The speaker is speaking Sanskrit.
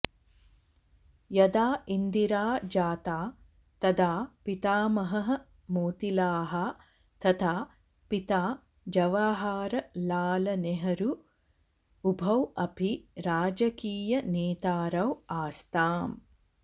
यदा इन्दिरा जाता तदा पितामहः मोतिलाः तथा पिता जवहरलालनेहरु उभौ अपि राजकीयनेतारौ आस्ताम्